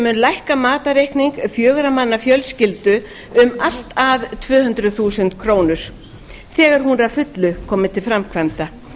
mun lækka matarreikning fjögurra manna fjölskyldu um allt að tvö hundruð þúsund krónur þegar hún er að fullu komin til framkvæmda